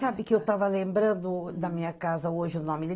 Sabe que eu estava lembrando, na minha casa hoje, o nome